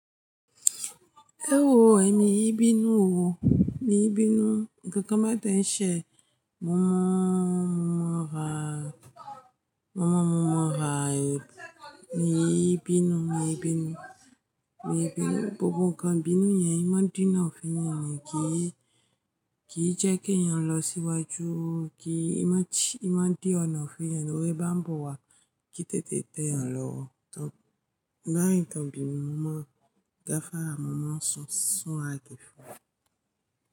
Ewo ẹ mii binu o, mii binu. Ǹkan mẹta ń ṣẹ, mo mọ, mo mọ ra, mo mọ, mo mọ ra ẹ. Mi ibinu, mi ibinu, mi ibinu. Gbogbo ǹkan bínú yẹn, imọ dínà fún ẹni ni kìí, kìí jẹ́ kí ẹyan lọ sí iwájú. Kí imọ ti, imọ di ọ̀nà fún ẹni, ó rí bá ń bọ wá kì í tètè tẹ́ ẹyan lọ. Ọ̀oto, tí n ba ri nkan ibínú mo mọ́, ga fará mọ́ mo so, sùn a ge fún.